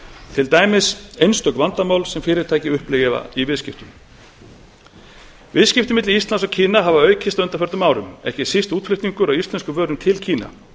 til dæmis einstök vandamál sem fyrirtæki upplifa af í viðskiptum viðskipti milli íslands og kína hafa aukist á undanförnum árum ekki síst útflutningur á íslenskum vörum til kína